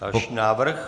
Další návrh.